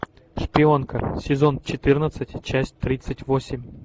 шпионка сезон четырнадцать часть тридцать восемь